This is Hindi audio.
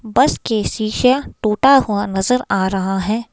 बस के शीशा टूटा हुआ नजर आ रहा है।